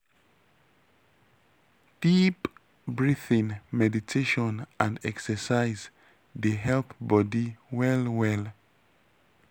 deep breathing meditation and exercise dey help body well well.